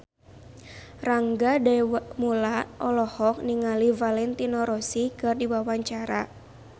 Rangga Dewamoela olohok ningali Valentino Rossi keur diwawancara